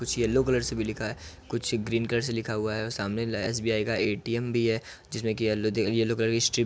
yellow colour से भी लिखा है कुछ ग्रीन कलर से लिखा हुआ है और सामने एसबीआई का एटीएम भी है जिसमें कि यलो यलो कलर की स्ट्रिप --